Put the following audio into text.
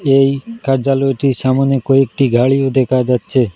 এই কার্যালয়টির সামোনে কয়েকটি গাড়ি দেখা যাচ্ছে।